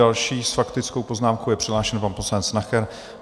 Další s faktickou poznámkou je přihlášen pan poslanec Nacher.